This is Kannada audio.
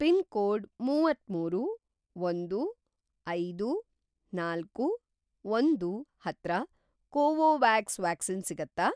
ಪಿನ್‌ಕೋಡ್‌ ಮುವತ್ತಮೂರು, ಒಂದು, ಐದು, ನಾಲ್ಕು, ಒಂದು ಹತ್ರ ಕೋವೋವ್ಯಾಕ್ಸ್ ವ್ಯಾಕ್ಸಿನ್ ಸಿಗತ್ತಾ?